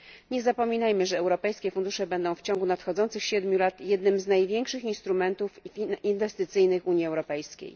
Nie zapominajmy, że europejskie fundusze będą w ciągu nadchodzących siedmiu lat jednym z największych instrumentów inwestycyjnych Unii Europejskiej.